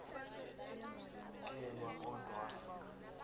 kelwa kodwa wafika